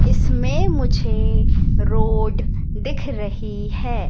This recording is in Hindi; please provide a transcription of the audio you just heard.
इसमें मुझे रोड दिख रही है।